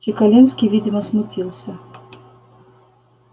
чекалинский видимо смутился